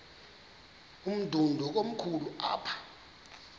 umdudo komkhulu apha